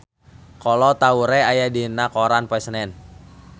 Kolo Taure aya dina koran poe Senen